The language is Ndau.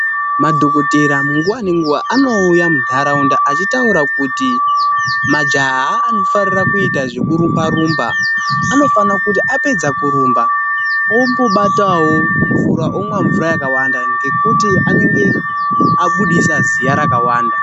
Madhokodheya nguwa ngenguwa anouya munharaunda achitaura kuti majaha anodakarira kuita zvekurumba rumba anofana kuti apedza kurumba ombobatawo mvura ,omwa mvura yakawanda ngekuti anenge abudisa ziya rakawanda.